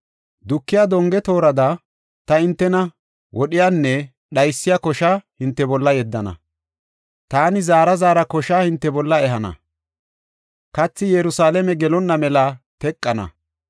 Dukiya donge toorada, ta hintena wodhiyanne dhaysiya kosha hinte bolla yeddana. Taani zaara zaara kosha hinte bolla ehana; kathi Yerusalaame gelonna mela teqana.